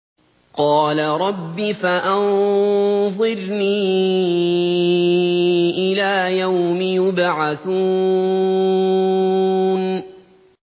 قَالَ رَبِّ فَأَنظِرْنِي إِلَىٰ يَوْمِ يُبْعَثُونَ